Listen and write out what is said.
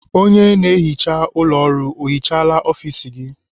Onye na-ehicha ụlọ ọrụ ọ hicahala ọfis gị?